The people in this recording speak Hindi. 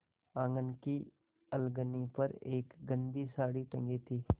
आँगन की अलगनी पर एक गंदी साड़ी टंगी थी